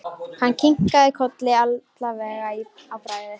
Hann kinkaði kolli alvarlegur í bragði.